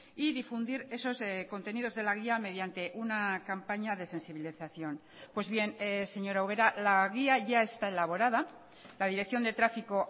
y difundir esos contenidos de la guía mediante una campaña de sensibilización pues bien señora ubera la guía ya está elaborada la dirección de tráfico